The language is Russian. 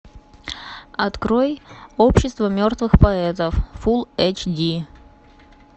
открой общество мертвых поэтов фулл эйч ди